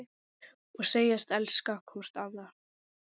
Og segjast elska hvort annað.